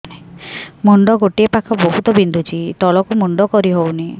ମୁଣ୍ଡ ଗୋଟିଏ ପାଖ ବହୁତୁ ବିନ୍ଧୁଛି ତଳକୁ ମୁଣ୍ଡ କରି ହଉନି